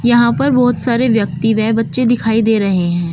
यहां पर बहुत सारे व्यक्ति व बच्चे दिखाई दे रहे हैं।